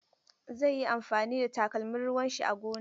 Zai yi amfani da takalmin ruwan shi a gona.